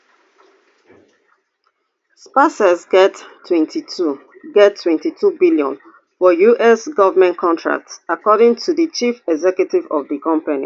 spacex get twenty-two get twenty-two billion for us goment contracts according to di chief executive of di company